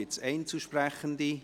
Gibt es Einzelsprechende?